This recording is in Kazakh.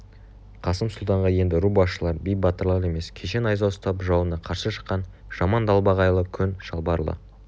қасым сұлтанға енді ру басшылары би батырлар емес кеше найза ұстап жауына қарсы шыққан жаман далбағайлы көн шалбарлы